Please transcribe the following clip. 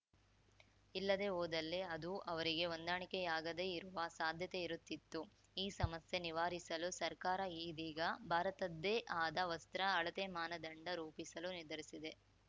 ಇಲ್ಲದೇ ಹೋದಲ್ಲಿ ಅದು ಅವರಿಗೆ ಹೊಂದಾಣಿಕೆಯಾಗದೇ ಇರುವ ಸಾಧ್ಯತೆ ಇರುತ್ತಿತ್ತು ಈ ಸಮಸ್ಯೆ ನಿವಾರಿಸಲು ಸರ್ಕಾರ ಇದೀಗ ಭಾರತದ್ದೇ ಆದ ವಸ್ತ್ರ ಅಳತೆ ಮಾನದಂಡ ರೂಪಿಸಲು ನಿರ್ಧರಿಸಿದೆ